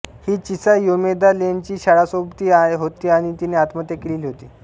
ही Chisa Yomeda लेनची शाळासोबती होती आणि तिने आत्महत्या केलेली होती